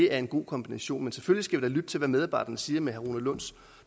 er en god kombination men selvfølgelig lytte til hvad medarbejderne siger med herre rune lunds